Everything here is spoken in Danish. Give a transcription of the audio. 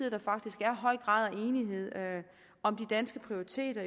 at der faktisk er høj grad af enighed om de danske prioriteter